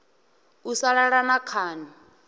u sa lala na khani